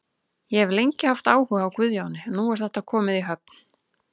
Ég hef lengi haft áhuga á Guðjóni og nú er þetta komið í höfn.